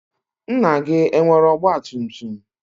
Nna gị, enwere ọgbatumtum?